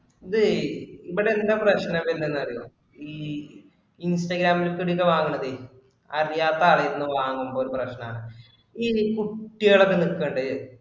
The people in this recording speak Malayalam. അതെ ഇവിടെന്താ പ്രശ്നമാക്കുന്നെന്നു അറിയുവോ ഈ instagram ഇലെത്തെ ഇതൊക്കെ വാങ്ങണതെ അറിയാത്ത ആളുകള് വാങ്ങുമ്പോ ഒരു പ്രശ്‍നം ആണ്. ഈ കുട്ടികളൊക്കെ നില്ക്കണ്ട്